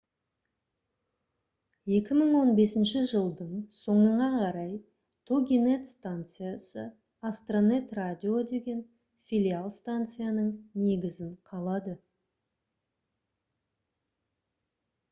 2015 жылдың соңына қарай toginet станциясы astronet radio деген филиал станцияның негізін қалады